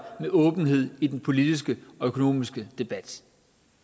med åbenhed i den politiske og økonomiske debat